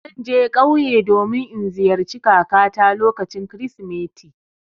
Zan je ƙauye domin in ziyarci kakata lokacin Kirsimeti.